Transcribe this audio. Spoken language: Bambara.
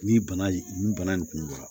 Ni bana nin bana nin kun bɔra